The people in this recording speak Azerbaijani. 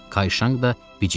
Kayşanq da bic idi.